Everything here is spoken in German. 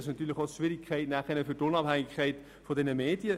Das würde schwierig in Bezug auf die Unabhängigkeit der Medien.